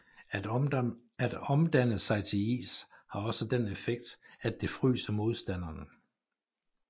At omdanne sig til is har også den effekt at det fryser modstanderen